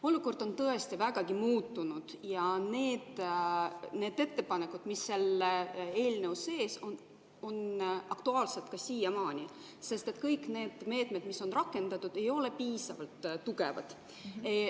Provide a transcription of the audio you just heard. Olukord on tõesti vägagi muutunud, aga need ettepanekud, mis seal eelnõus sees on, on aktuaalsed siiamaani, sest kõik need meetmed, mis on rakendatud, ei ole piisavalt tugevad.